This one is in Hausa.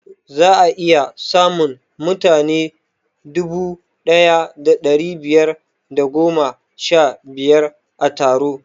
Za'a iya samun mutane dubu ɗaya da ɗari biyar da goma sha biyar a taro